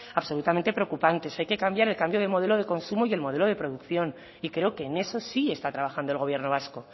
absolutamente preocupantes hay que cambiar el cambio de modelo de consumo y el modelo de producción y creo que en eso sí está trabajando el gobierno vasco